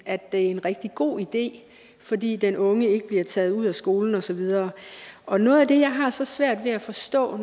er en rigtig god idé fordi den unge ikke bliver taget ud af skolen og så videre og noget af det jeg har så svært ved at forstå